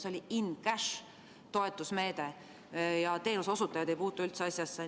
See oli in‑cash-toetusmeede ja teenuseosutajad ei puutu üldse asjasse.